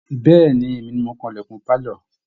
Bẹ̀ ni, èmi ni mò ń kan ìlẹ̀kùn pálọ̀